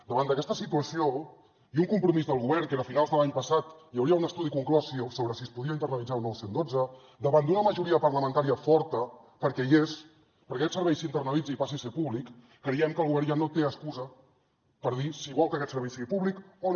davant d’aquesta situació i un compromís del govern que era que a finals de l’any passat hi hauria un estudi conclòs sobre si es podia internalitzar o no el cent i dotze davant d’una majoria parlamentària forta perquè hi és perquè aquest servei s’internalitzi i passi a ser públic creiem que el govern ja no té excusa per dir si vol que aquest servei sigui públic o no